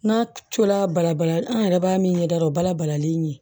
N'a tora bala bala an yɛrɛ b'a min ɲɛ da dɔrɔn bala balalen ye